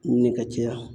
Ɲini ka caya